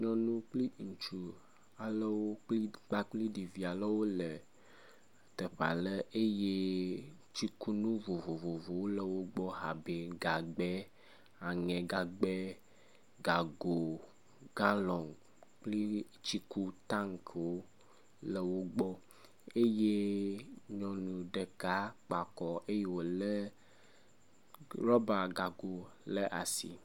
Nyɔnu kple ŋutsu aɖewo kpakple ɖevi aɖewo le teƒe aɖe eye tsikunu vovovowo le wo gbɔ abe gagbɛ, aŋegagbɛ, gago, galon kple tsikutankiwo le wo gbɔ eye nyɔnu ɖeka kpe akɔ eye wolé rɔbagago ɖe asi.